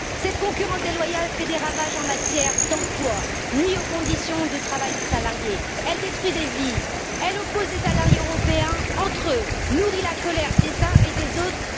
Cette concurrence déloyale fait des ravages en matière d'emploi, nuit aux conditions de travail des salariés, détruit des vies, oppose des salariés européens entre eux et nourrit la colère des uns et des autres.